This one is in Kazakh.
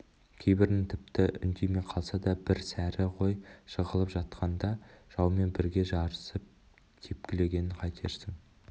кейбірінің тіпті үндемей қалса да бір сәрі ғой жығылып жатқанда жаумен бірге жарысып тепкілегенін қайтерсің